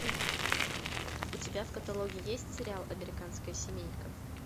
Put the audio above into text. у тебя в каталоге есть сериал американская семейка